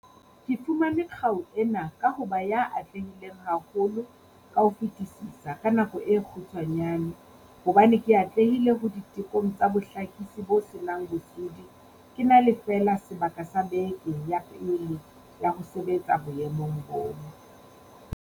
"Ke fumane kgau ena ka ho ba ya atlehileng haholo ka ho fetisisa ka nako e kgutshwanyane hobane ke atlehile ho ditekong tsa bohlakisi bo se nang bosodi ke na fela le sebaka sa bekeng ya pele ya ho sebetsa boemong boo."